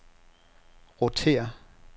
rotér